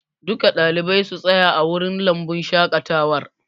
Duka ɗalibai su tsaya a wurin lambun shaƙatawar!